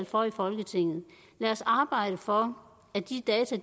for i folketinget lad os arbejde for at de data